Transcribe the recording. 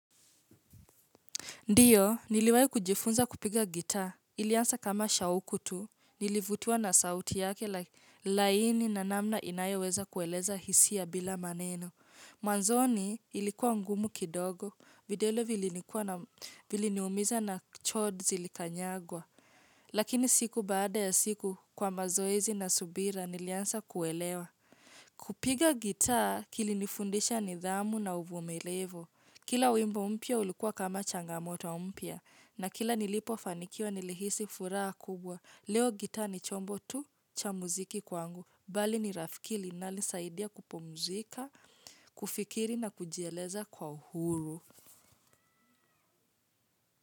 Ndiyo, niliwayo kujifunza kupiga gitaa, ilianza kama shauku tu, nilivutiwa na sauti yake laini na namna inayoweza kueleza hisia bila maneno. Mwanzoni ilikuwa ngumu kidogo, vidole viliniumiza na chord zilikanyagwa, lakini siku baada ya siku kwa mazoezi na subira, nilianza kuelewa. Kupiga gitaa kilinifundisha nidhamu na uvumilivu. Kila wimbo mpya ulikuwa kama changamoto mpya na kila nilipofanikiwa nilihisi furaha kubwa. Leo gitaa ni chombo tu cha muziki kwangu. Bali ni rafiki linalosaidia kupumzika, kufikiri na kujieleza kwa uhuru.